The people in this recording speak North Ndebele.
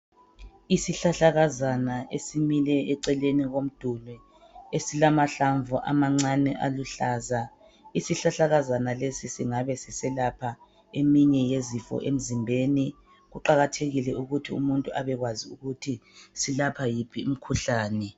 Isihlahlakazana esimile eceleni komduli esilamahlamvu amancane aluhlaza. Isihlahlakazana lesi singabe siselapha eminye yezifo emzimbeni kuqakathekile ukuthi umuntu abekwazi ukuthi silapha yiphi imikhuhlane.